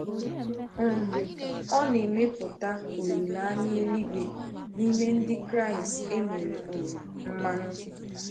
um Ọ na-emepụta olileanya eluigwe n’ime Ndị Kraịst e mere um mmanụ.